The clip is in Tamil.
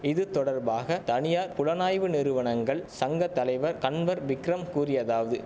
இதுதொடர்பாக தனியார் புலனாய்வு நிறுவனங்கள் சங்க தலைவர் கன்வர் விக்ரம் கூறியதாவது